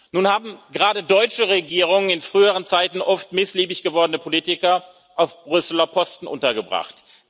Nun haben gerade deutsche Regierungen in früheren Zeiten oft missliebig gewordene Politiker auf Brüsseler Posten untergebracht.